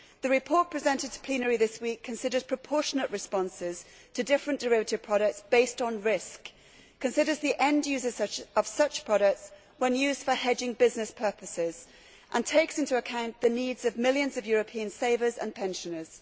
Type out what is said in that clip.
The report presented to plenary this week considers proportionate responses to different derivative products based on risk, considers the end users of such products when used for hedging business purposes and takes into account the needs of millions of European savers and pensioners.